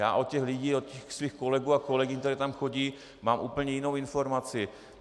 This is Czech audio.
Já od těch lidí, od svých kolegů a kolegyň, kteří tam chodí, mám úplně jinou informaci.